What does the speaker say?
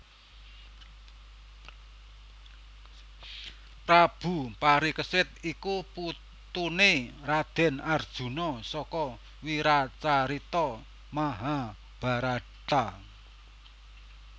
Prabu Parikesit iku putuné Radèn Arjuna saka wiracarita Mahabharata